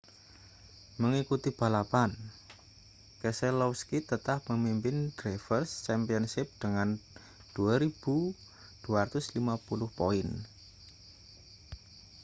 mengikuti balapan keselowski tetap memimpin drivers' championship dengan 2.250 poin